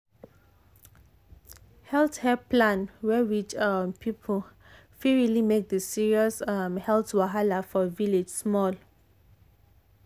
um health help plan wey reach um people fit really make the serious um health wahala for village small.